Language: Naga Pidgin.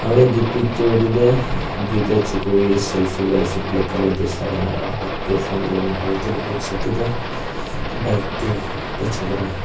aro itu picture te toh duita chukuri selfie loi ase black color dress lagai kena aro hath te phone duri kena aro tai laga backside te toh bike te ekta chokara--